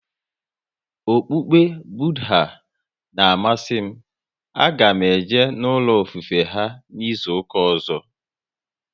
Okpukpe Budha na amasị m, a ga m eje n'ulo ofufe ha n'izuka ọzọ